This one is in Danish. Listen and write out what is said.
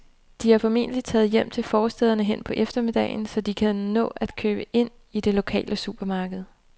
De er formentlig taget hjem til forstæderne hen på eftermiddagen, så de kan nå at købe ind i det lokale supermarked.